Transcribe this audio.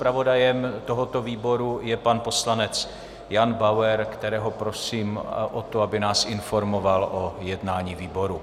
Zpravodajem tohoto výboru jen pan poslanec Jan Bauer, kterého prosím o to, aby nás informoval o jednání výboru.